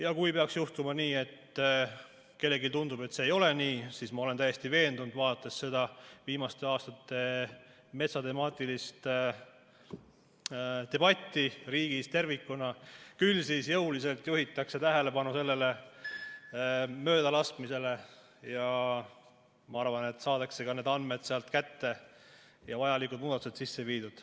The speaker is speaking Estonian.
Ja kui peaks juhtuma nii, et kellelegi tundub, et see ei ole nii, siis ma olen täiesti veendunud – vaadates seda viimaste aastate metsateemalist debatti riigis tervikuna –, et küll siis jõuliselt juhitakse tähelepanu sellele möödalaskmisele ja ma arvan, et saadakse ka need andmed sealt kätte ja vajalikud muudatused sisse viidud.